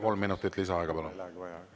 Kolm minutit lisaaega, palun!